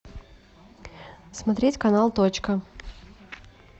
смотреть канал точка